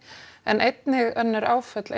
en einnig önnur áföll